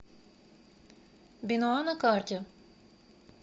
бенуа на карте